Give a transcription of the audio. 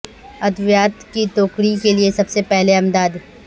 ادویات کی ٹوکری کے لئے سب سے پہلے امداد